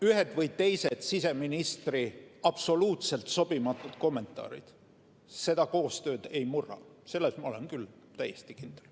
Ühed või teised siseministri absoluutselt sobimatud kommentaarid seda koostööd ei murra – selles ma olen küll täiesti kindel.